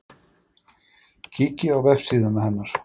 Kíkið á vefsíðuna hennar